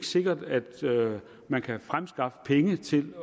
sikkert at man kan fremskaffe penge til